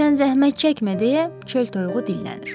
Sən zəhmət çəkmə deyə çöl toyuğu dillənir.